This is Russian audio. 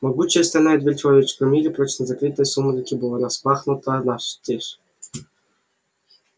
могучая стальная дверь в человеческом мире прочно закрытая в сумраке была распахнута настежь